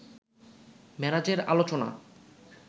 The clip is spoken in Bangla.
মেরাজের আলোচনা